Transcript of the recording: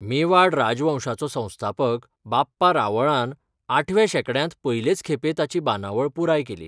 मेवाड राजवंशाचो संस्थापक बाप्पा रावळान आठव्या शेंकड्यांत पयलेच खेपे ताची बांदावळ पुराय केली.